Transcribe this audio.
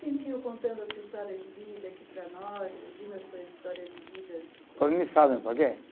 Sentiu contando a sua história de vida aqui para nós, dividindo a sua história de vida? por quê?